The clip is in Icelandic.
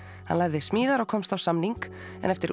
hann lærði smíðar og komst á samning en eftir